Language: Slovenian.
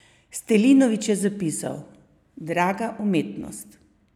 Stilinović je zapisal: "Draga umetnost!